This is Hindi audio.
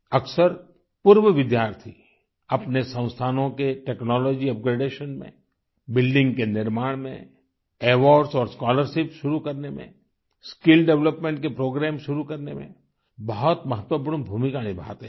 अक्सर पूर्व विद्यार्थी अपने संस्थानों के टेक्नोलॉजी अपग्रेडेशन में बिल्डिंग के निर्माण में अवार्ड्स और स्कॉलरशिप्स शुरू करने में स्किल डेवलपमेंट के प्रोग्राम शुरू करने में बहुत महत्वपूर्ण भूमिका निभाते हैं